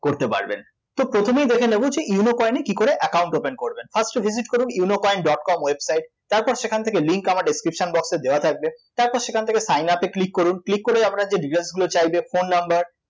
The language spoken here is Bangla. করতে পারবেন, তো প্রথমেই দেখে নেব যে ইউনো কয়েনে কী করে account open করবেন first এ visit করুন ইউনোকয়েন ডট কম website তারপর সেখান থেকে link আমার description box এ দেওয়া থাকবে তারপর সেখান থেকে sign up এ click করুন click করে আপনার যে details গুলো চাইবে phone number